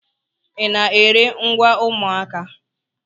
Ị na-ere ngwa ụmụaka?